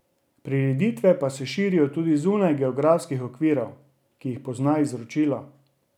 Prireditve pa se širijo tudi zunaj geografskih okvirov, ki jih pozna izročilo.